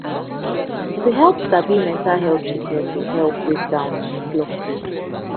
to help sabi mental health sickness de help break down block road